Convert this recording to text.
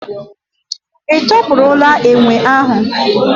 Ị tọpụrụla enwe ahu?